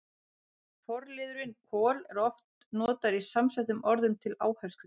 Forliðurinn kol- er oft notaður í samsettum orðum til áherslu.